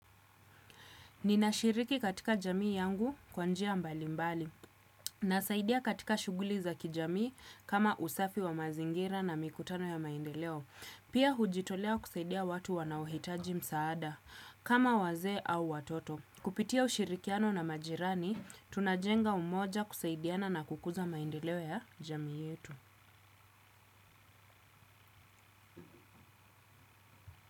Ninashiriki katika jamii yangu kwa njia mbali mbali, nasaidia katika shuguli za kijamii kama usafi wa mazingira na mikutano ya maendeleo. Pia hujitoleo kusaidia watu wanaohitaji msaada, kama wazee au watoto. Kupitia ushirikiano na majirani, tunajenga umoja kusaidiana na kukuza maindeleo ya jamii yetu.